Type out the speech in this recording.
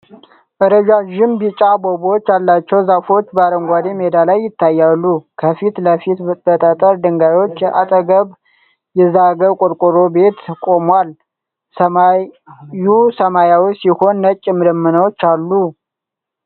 ረዣዥም ቢጫ አበቦች ያላቸው ዛፎች በአረንጓዴ ሜዳ ላይ ይታያሉ። ከፊት ለፊት፣ በጠጠር ድንጋዮች አጠገብ፣ የዛገ ቆርቆሮ ቤት ቆሟል። ሰማዩ ሰማያዊ ሲሆን ነጭ ደመናዎች አሉ።